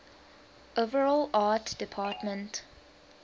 overall art department